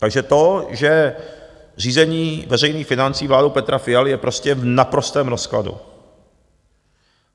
Takže to, že řízení veřejných financí vládou Petra Fialy je prostě v naprostém rozkladu.